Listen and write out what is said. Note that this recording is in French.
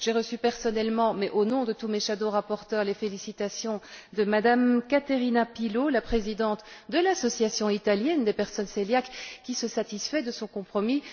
J'ai reçu personnellement, mais au nom de tous mes rapporteurs fictifs, les félicitations de Mme Caterina Pilo, la présidente de l'association italienne des personnes cœliaques, qui se satisfait de ce compromis.